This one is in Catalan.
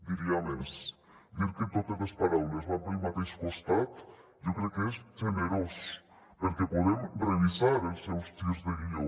diria més dir que totes les paraules van pel mateix costat jo crec que és generós perquè podem revisar els seus girs de guió